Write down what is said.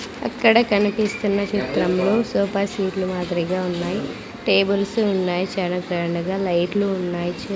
అక్కడ కనిపిస్తున్న చిత్రంలో సోపా సీట్లు మాదిరిగా ఉన్నాయి టేబుల్స్ ఉన్నాయి చాలా గ్రాండ్ గా లైట్లు ఉన్నాయ్.